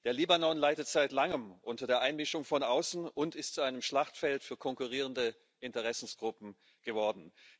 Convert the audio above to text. Der Libanon leidet seit langem unter der Einmischung von außen und ist zu einem Schlachtfeld für konkurrierende Interessengruppen geworden.